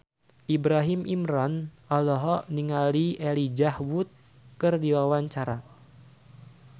Ibrahim Imran olohok ningali Elijah Wood keur diwawancara